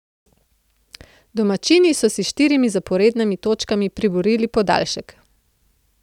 Domačini so si s štirimi zaporednimi točkami priborili podaljšek.